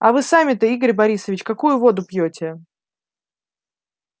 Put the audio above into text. а вы сами-то игорь борисович какую воду пьёте